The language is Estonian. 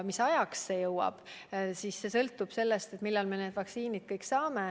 Mis ajaks see õnnestub, see sõltub sellest, millal me need vaktsiinid kätte saame.